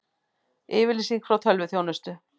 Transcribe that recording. Yfirlýsing frá tölvuþjónustu